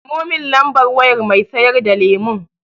Samo mun lambar wayar mai sayar da lemon.